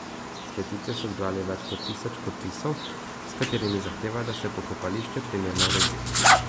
S peticijo so zbrali več kot tisoč podpisov, s katerimi zahtevajo, da se pokopališče primerno uredi.